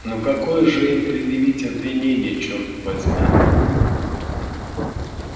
но какое же им предъявить обвинение черт возьми